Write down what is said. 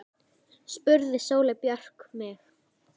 spurði Sóley Björk mig.